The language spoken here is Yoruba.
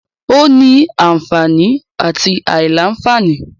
Ó ní anfààní àti àìlá-anfààní.